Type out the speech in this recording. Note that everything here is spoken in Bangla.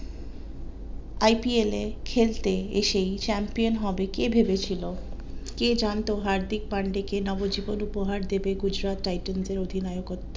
IPL এ খেলতে এসেই champion হবে কে ভেবেছিলো কে জানতো হার্দিক পান্ডে কে নবজীবন উপহার দিবে গুজরাটে টাইটান্স এর অধিনায়কত্ব